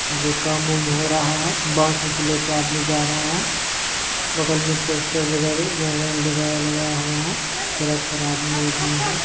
आगे काम वांम हो रहा है। बांस वांस लेके आदमी जा रहा है। बगल मे पोस्टर वगर वगर लीगाय लगाया हुआ है। सिरप पर आदमी बैठी हुए है।